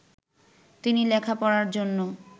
তিনি লেখাপড়ার জন্য